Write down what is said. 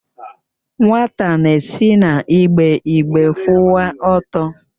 Nwata na-esi n'igbe igbe kwụwa ọtọ.